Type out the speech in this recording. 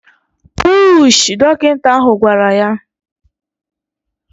Puuuuuushị! Dọkịta ahụ gwara ya